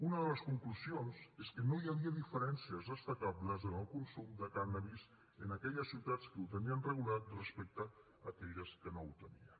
una de les conclusions és que no hi havia diferències destacables en el consum de cànnabis en aquelles ciutats que el tenien regulat respecte a aquelles que no el tenien